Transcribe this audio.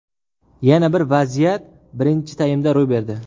Yana bir vaziyat birinchi taymda ro‘y berdi.